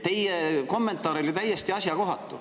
Teie kommentaar oli täiesti asjakohatu.